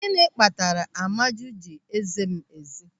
Gịnị kpatara Amaju ji eze m eze?